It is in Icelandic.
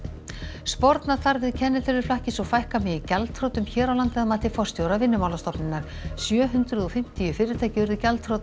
sporna þarf við kennitöluflakki svo fækka megi gjaldþrotum hér á landi að mati forstjóra Vinnumálastofnunar sjö hundruð og fimmtíu fyrirtæki urðu gjaldþrota á